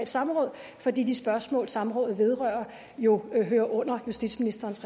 samråd fordi de spørgsmål samrådet vedrører jo hører under justitsministerens